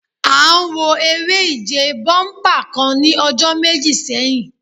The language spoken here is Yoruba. À ń wo eré ìje bọ́únpà kan ní ọjọ́ méjì sẹ́yìn